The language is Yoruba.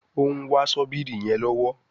òún wá Ṣọ́bìrì yén lọwọ